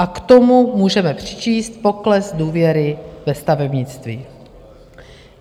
A k tomu můžeme přičíst pokles důvěry ve stavebnictví.